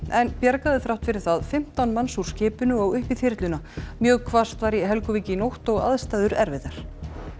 en bjargaði þrátt fyrir það fimmtán manns úr skipinu og upp í þyrluna mjög hvasst var í Helguvík í nótt og aðstæður erfiðar